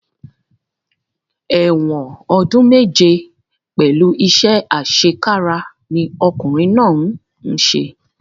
Ẹ̀wọ̀n ọdún méje pẹ̀lú iṣẹ́ àṣekára ni ọkùnrin náà ń ṣe